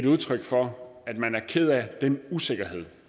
udtryk for at man er ked af den usikkerhed